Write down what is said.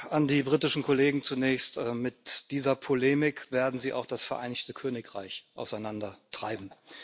An die britischen Kollegen zunächst Mit dieser Polemik werden Sie auch das Vereinigte Königreich auseinandertreiben.